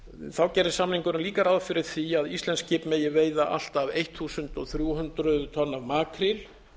þá gerir samningurinn líka ráð fyrir því að íslensk skip megi veiða allt að þrettán hundruð tonn af makríl